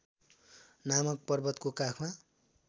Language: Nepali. नामक पर्वतको काखमा